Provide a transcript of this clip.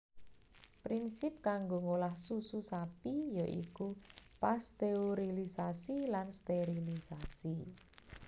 Prinsip kanggo ngolah susu sapi ya iku pasteurilisasi lan sterilisasi